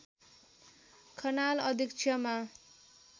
खनाल अध्यक्षमा